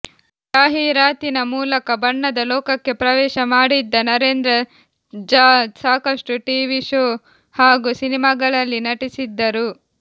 ಜಾಹೀರಾತಿನ ಮೂಲಕ ಬಣ್ಣದ ಲೋಕಕ್ಕೆ ಪ್ರವೇಶ ಮಾಡಿದ್ದ ನರೇಂದ್ರ ಝಾ ಸಾಕಷ್ಟು ಟಿವಿ ಶೋ ಹಾಗೂ ಸಿನಿಮಾಗಳಲ್ಲಿ ನಟಿಸಿದ್ದರು